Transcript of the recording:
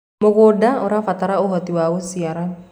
mũgũnda ũrabatara uhoti wa guciara